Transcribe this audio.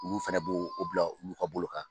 Olu fɛnɛ b'o bila , an ka bolo kan